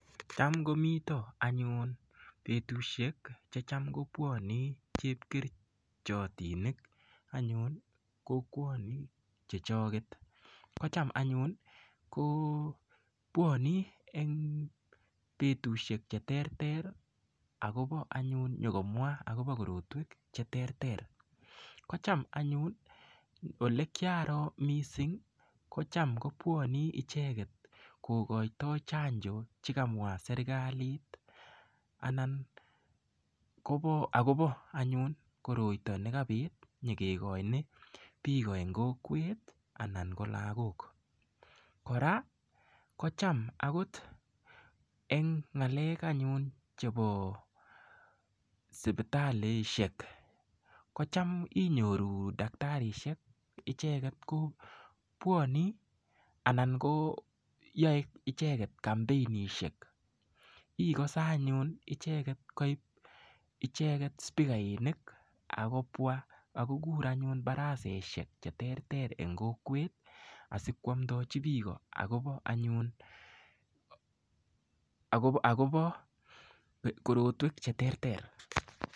Tam komiten anyun betuseik chetam kobwone chepkerichinik kokwoni kotam anyun bwone en bestusiek cheterter akomwa anyun akobo tukuk cheterter kotam anyun ole kiaro anyun missing kotam kobwone ichek kokoito serkalit chekako serkalit anan kobo anyun koroito anyun nekabit nyo kikoin biik en kowekt anan ko lagok, en ng'alek anyun chebo sipitalisiek kotam inyoru taktarisiek koyoe icheek kampenisiek ikose ile koib ichek spikainik akokokur anyun barasesiek en kokwet asikwomndechi biik akobo korotwek cheterter.